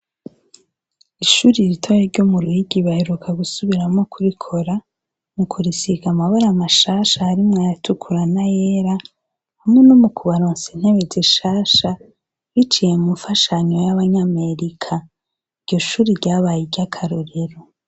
Ishuri ritaye ryo mu ruhigi baheruka gusubiramwo kurikora mu kurisiga amabara amashasha harimwe yatukurana yera hamwe no mu kubaronse ntebe zishasha biciye mu mfashanyo y'abanyamerika iryo shuri ryabaye iryo akarorero.